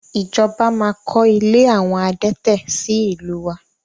Ìjọba máa kọ ilé àwọn adẹ́tẹ̀ sì ìlú wa